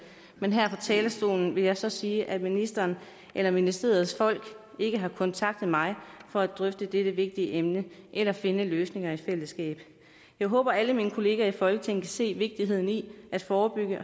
men her fra talerstolen vil jeg så sige at ministeren eller ministeriets folk ikke har kontaktet mig for at drøfte dette vigtige emne eller finde løsninger i fællesskab jeg håber alle mine kollegaer i folketinget kan se vigtigheden i at forebygge